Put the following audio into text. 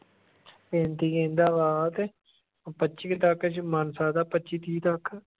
ਪੈਂਤੀ ਕਹਿੰਦਾ ਵਾ ਤੇ ਉਹ ਪੱਚੀ ਤੱਕ ਜੇ ਮੰਨ ਸਕਦਾ ਪੱਚੀ ਤੀਹ ਤੱਕ।